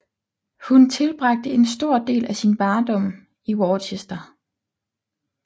Hun tilbragte en stor del af sin barndom i Worcester